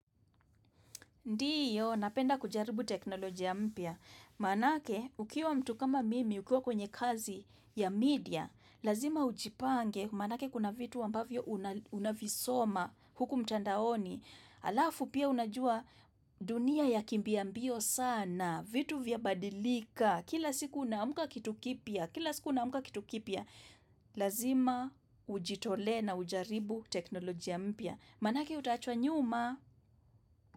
Ndiyo, napenda kujaribu teknolojia mpya. Manake, ukiwa mtu kama mimi, ukiwa kwenye kazi ya media, lazima ujipange, maanake kuna vitu ambavyo una unavisoma huku mtandaoni. Alafu pia unajua dunia ya kimbia mbio sana, vitu vyabadilika, kila siku unaamka kitu kipya, kila siku unaamka kitu kipya. Lazima ujitolee na ujaribu teknolojia mpya. Maanake, utaachwa nyuma.